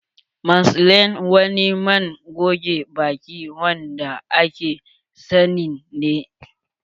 Maclean wani man goge baki wanda aka sani ne.